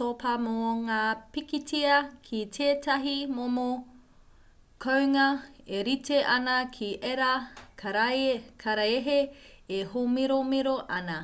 topa mō ngā pikitia ki tētahi momo kounga e rite ana ki ērā karaehe e hōmiromiro ana